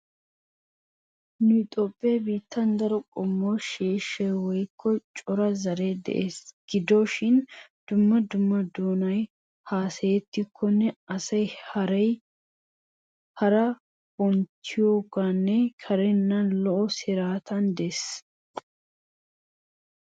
Nu Toophphiya biittan daro qommo sheeshshay woykko cora zaree de'ees. Gido shin dumma dumma doonay haasayettikkonne issoy hara bonchchiyonne karenna lo'o siraatay de'ees.